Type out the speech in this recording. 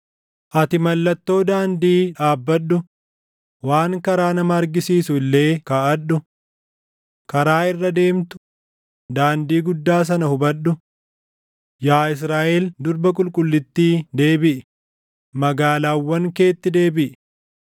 “Ati mallattoo daandii dhaabbadhu; waan karaa nama argisiisu illee kaaʼadhu. Karaa irra deemtu, daandii guddaa sana hubadhu. Yaa Israaʼel durba qulqullittii deebiʼi; magaalaawwan keetti deebiʼi.